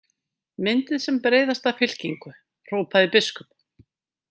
Myndið sem breiðasta fylkingu, hrópaði biskup.